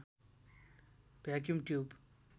vacuum tube